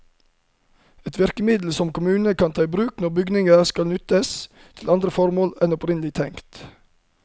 Et virkemiddel som kommunene kan ta i bruk når bygninger skal utnyttes til andre formål enn opprinnelig tenkt.